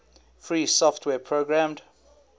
free software programmed